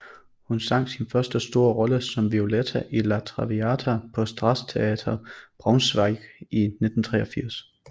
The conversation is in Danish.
Hun sang sin første store rolle som Violetta i La Traviata på Staatstheater Braunschweig i 1983